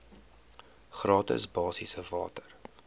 gratis basiese water